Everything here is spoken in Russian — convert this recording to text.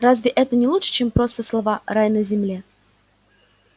разве это не лучше чем просто слова рай на земле